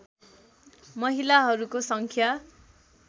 महिलाहरूको सङ्ख्या